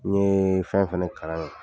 N ye fɛn fɛnɛ kalan ye